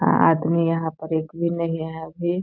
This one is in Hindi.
आदमी यहाँ पर एक भी नहीं है अभी।